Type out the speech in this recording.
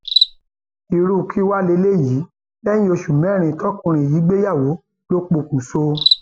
irú kí wàá lélẹyìí lẹyìn oṣù mẹrin tọkùnrin yìí gbéyàwó lọ pokùṣọ